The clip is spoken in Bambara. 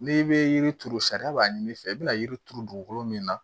N'i bɛ yiri turu sariya b'a ɲimi fɛ i bɛna yiri turu dugukolo min na